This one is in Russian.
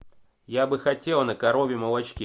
я бы хотела на коровьем молочке